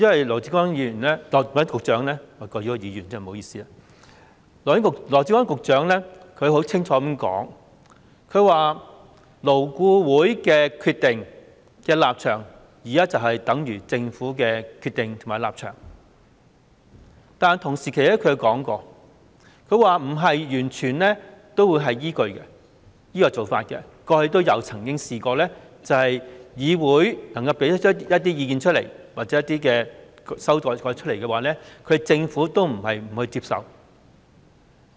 羅致光議員——不好意思，我稱他議員——羅致光局長清楚表示，勞工顧問委員會的決定和立場，等於政府的決定和立場，但他同時說，政府不是完全依據這做法，過去議會提出的一些意見或修改，政府並非沒有接受。